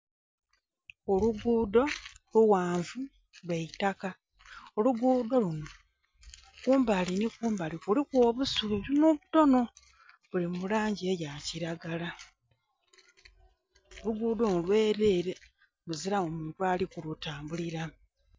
Olugudho lughanvu lwaitaka, olugudho lunho kumbali nhi kumbali kuliku obusubi butono butono buli mulangi eya kilagala. Olugudho luno lwerere luzilamu muntu ali ku lutambulilamu.